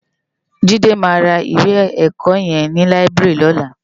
Jide má yá iwé èkò yèn ni láibiri lòlá